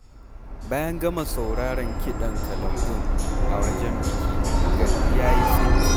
Bayan gama sauraren kiɗan kalangun a wajen bikin, gari ya yi tsit!